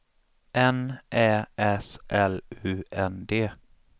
N Ä S L U N D